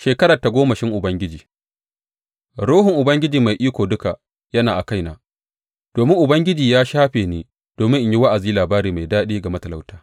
Shekarar tagomashin Ubangiji Ruhun Ubangiji Mai Iko Duka yana a kaina, domin Ubangiji ya shafe ni domin in yi wa’azi labari mai daɗi ga matalauta.